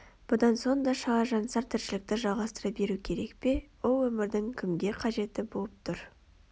бұдан соң да шала-жансар тіршілікті жалғастыра беру керек пе ол өмірдің кімге қажеті боп тұр